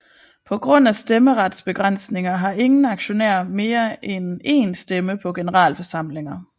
På grund af stemmeretsbegrænsninger har ingen aktionær mere end en stemme på generalforsamlinger